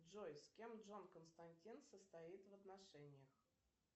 джой с кем джон константин состоит в отношениях